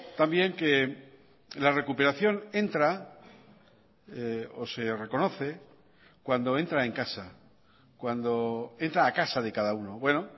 también que la recuperación entra o se reconoce cuando entra en casa cuando entra a casa de cada uno bueno